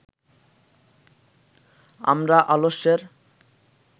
আমরা আলস্যের